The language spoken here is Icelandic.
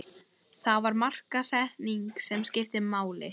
Það var markaðssetningin sem skipti máli.